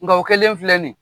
Nka o kɛlen filɛ nin ye .